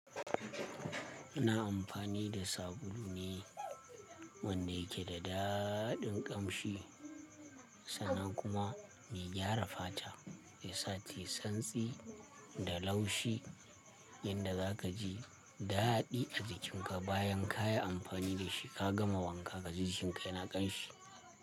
Ina amfani da sabulu ne wanda yake da daɗin ƙamshi sannan kuma mai gyara fata. Ya sa tayi santsi da laushi, yanda za ka ji daɗi a jikinka bayan ka yi amfani da shi ka gama wanka ka ji jikinka yana ƙanshi.